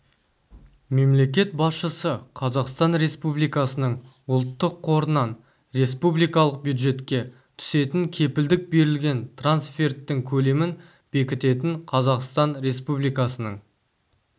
мемлекет басшысы қазақстан республикасының ұлттық қорынан республикалық бюджетке түсетін кепілдік берілген трансферттің көлемін бекітетін қазақстан республикасының